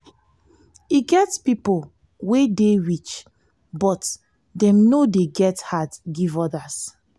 e get pipo wey dey rich but dem no dey get heart give odas.